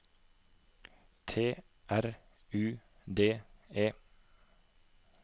T R U D E